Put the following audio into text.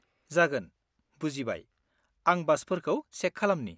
जागोन, बुजिबाय, आं बासफोरखौ चेक खालमनि।